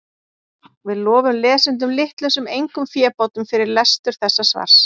Við lofum lesendum litlum sem engum fébótum fyrir lestur þessa svars.